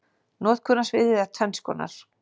Notkunarsviðið er tvenns konar.